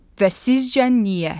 Və sizcə niyə?